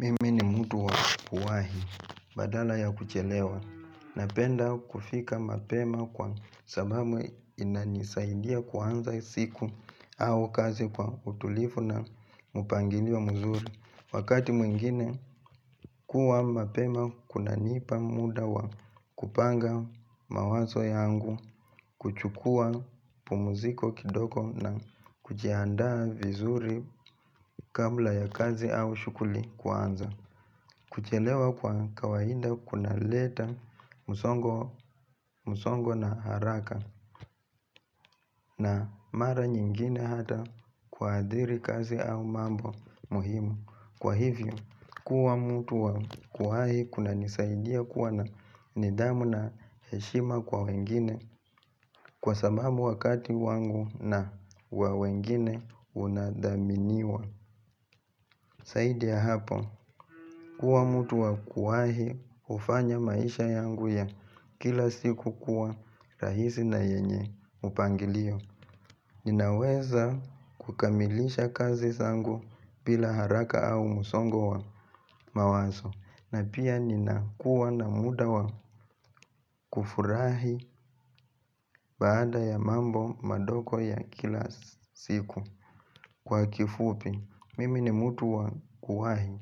Mimi ni mtu wa kuwahi badala ya kuchelewa. Napenda kufika mapema kwa sababu inanisaidia kuanza siku au kazi kwa utulifu na mupangilio mzuri. Wakati mwingine, kuwa mapema kunanipa muda wa kupanga mawazo yangu, kuchukua pumziko kidogo na kujiandaa vizuri kabla ya kazi au shughuli kuanza. Kuchelewa kwa kawaida kunaleta musongo na haraka na mara nyingine hata kuadhiri kazi au mambo muhimu. Kwa hivyo, kuwa mtu wa kuwahi kunanisaidia kuwa na nidhamu na heshima kwa wengine kwa sababu wakati wangu na wa wengine unadhaminiwa. Zaidi ya hapo, kuwa mtu wa kuwahi hufanya maisha yangu ya kila siku kuwa rahisi na yenye upangilio. Ninaweza kukamilisha kazi zangu bila haraka au musongo wa mawazo. Na pia ninakuwa na muda wa kufurahi baada ya mambo madogo ya kila siku kwa kifupi Mimi ni mtu wa kuwahi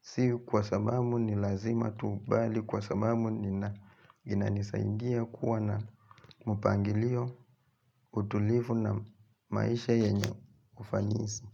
sii kwa sababu ni lazima tukubali kwa sababu Nina inanisadia kuwa na mupangilio utulifu na maisha yenye ufanisi.